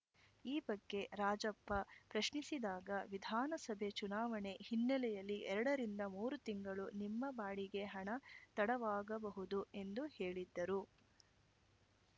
ಈ ಬಗ್ಗೆ ರಾಜಪ್ಪ ಪ್ರಶ್ನಿಸಿದಾಗ ವಿಧಾನಸಭೆ ಚುನಾವಣೆ ಹಿನ್ನೆಲೆಯಲ್ಲಿ ಎರಡರಿಂದ ಮೂರು ತಿಂಗಳು ನಿಮ್ಮ ಬಾಡಿಗೆ ಹಣ ತಡವಾಗಬಹುದು ಎಂದು ಹೇಳಿದ್ದರು